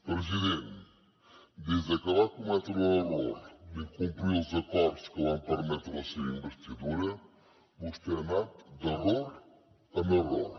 president des de que va cometre l’error d’incomplir els acords que van permetre la seva investidura vostè ha anat d’error en error